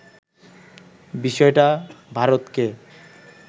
বিষয়টা ভারতকে